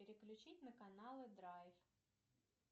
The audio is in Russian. переключить на каналы драйв